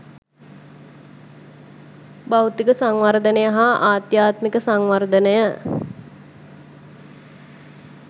භෞතික සංවර්ධනය හා ආධ්‍යාත්මික සංවර්ධනය